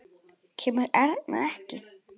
Kemur Erna ekki!